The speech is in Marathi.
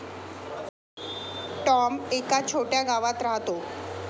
टॉम एका छोट्या गावात राहतो.